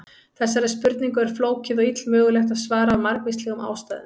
Þessari spurningu er flókið og illmögulegt að svara af margvíslegum ástæðum.